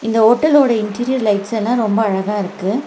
இந்த ஓட்டலோட interior lights எல்லா ரொம்ப அழகா இருக்கு.